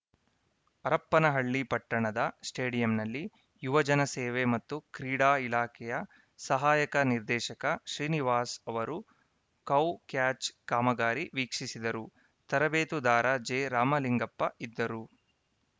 ಹರಪನಹಳ್ಳಿ ಪಟ್ಟಣದ ಸ್ಟೇಡಿಯಂನಲ್ಲಿ ಯುವಜನ ಸೇವೆ ಮತ್ತು ಕ್ರೀಡಾ ಇಲಾಖೆಯ ಸಹಾಯಕ ನಿರ್ದೇಶಕ ಶ್ರೀನಿವಾಸ ಅವರು ಕೌ ಕ್ಯಾಚ್‌ ಕಾಮಗಾರಿ ವೀಕ್ಷಿಸಿದರು ತರಬೇತುದಾರ ಜೆರಾಮಲಿಂಗಪ್ಪ ಇದ್ದರು